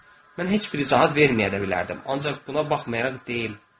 Mən heç bir izahət verməyə də bilərdim, ancaq buna baxmayaraq deyim.